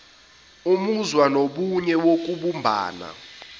umuzwa wobunye nokubumbana